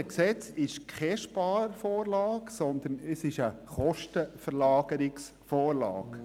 Das vorliegende Gesetz ist keine Sparvorlage, sondern eine Kostenverlagerungsvorlage.